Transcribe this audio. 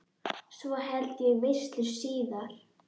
Svo held ég veislu síðar.